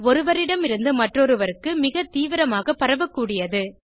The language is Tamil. ஒருவரிடமிருந்து மற்றொருவருக்கு மிக தீவிரமாக பரவக்கூடியது